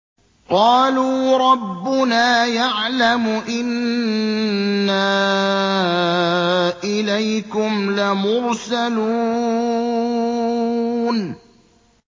قَالُوا رَبُّنَا يَعْلَمُ إِنَّا إِلَيْكُمْ لَمُرْسَلُونَ